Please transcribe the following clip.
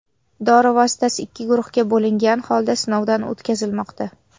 Dori vositasi ikki guruhga bo‘lingan holda sinovdan o‘tkazilmoqda.